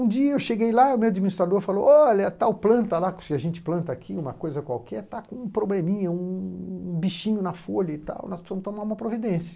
Um dia eu cheguei lá e o meu administrador falou olha, tal planta lá, que a gente planta aqui, uma coisa qualquer, tá com um probleminha, um bichinho na folha e tal, nós precisamos tomar uma providência.